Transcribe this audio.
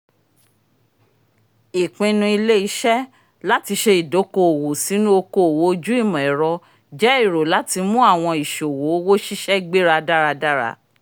ipinnu ile-iṣẹ lati ṣe ìdòko-òwò sinu òkò-òwò ojú imọ-ẹrọ jẹ èrò lati mú àwọn ìṣòwò owó ṣiṣẹ́ gbéra dáradára